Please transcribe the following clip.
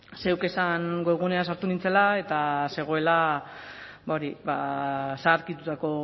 zeuk esan webgunean sartu nintzela eta zegoela zaharkitutako